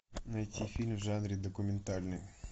найти фильм в жанре документальный